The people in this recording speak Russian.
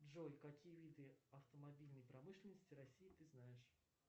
джой какие виды автомобильной промышленности россии ты знаешь